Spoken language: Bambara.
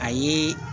A ye